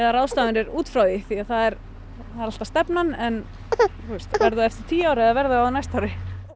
ráðstafanir út frá því því það er alltaf stefnan verður það eftir tíu ár eða verður það á næsta ári